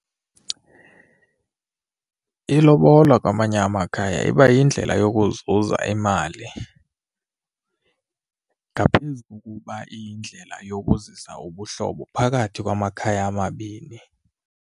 Ilobola kwamanye amakhaya iba yindlela yokuzuza imali ngaphezu kokuba iyindlela yokuzisa ubuhlobo phakathi lwamakhaya amabini.